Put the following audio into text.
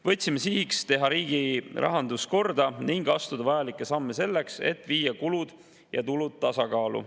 Võtsime sihiks teha riigi rahandus korda ning astuda vajalikke samme selleks, et viia kulud ja tulud tasakaalu.